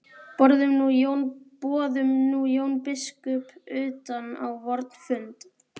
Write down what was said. Boðum nú Jón biskup utan á vorn fund.